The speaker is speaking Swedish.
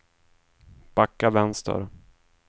backa vänster